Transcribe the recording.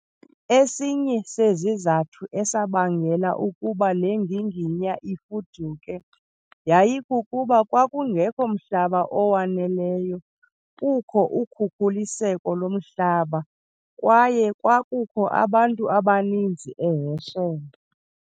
Esinye sezizathu esabangela ukuba lenginginya ifuduke yayikukuba kwakungekho mhlaba owaneleyo, kukho ukhukhuliseko lomhlaba kwaye kwakukho abantu abaninzi eHerschel.